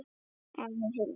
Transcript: Afi Hilmar.